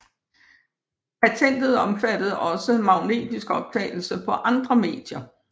Patentet omfattede også magnetisk optagelse på andre medier